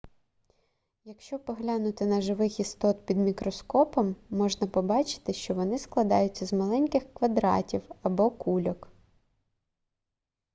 якщо поглянути на живих істот під мікроскопом можна побачити що вони складаються з маленьких квадратів або кульок